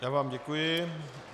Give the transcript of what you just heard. Já vám děkuji.